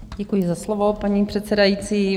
Děkuji za slovo, paní předsedající.